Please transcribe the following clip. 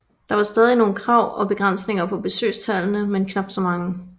Der var stadig nogle krav og begrænsninger på besøgstallene men knap så mange